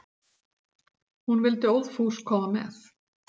Hún vildi óðfús koma með.